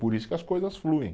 Por isso que as coisas fluem.